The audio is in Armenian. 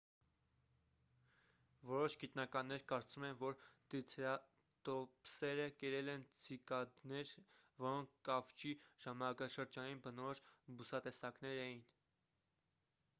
որոշ գիտնականներ կարծում են որ տրիցերատոպսերը կերել են ցիկադներ որոնք կավճի ժամանակաշրջանին բնորոշ բուսատեսակներ էին